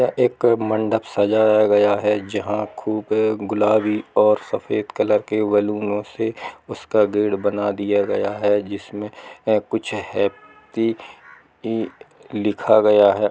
यह एक मंडप सजाया गया है जहाँ खुबे गुलाबी और सफेद कलर के बलूनो से उसका गेट बना दिया गया है जिसमे कुछ हैप्पी इ लिखा गया है।